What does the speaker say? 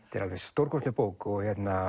er alveg stórkostleg bók og